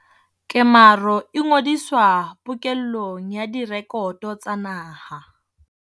Kemaro e ngodiswa pokellong ya direkoto tsa naha.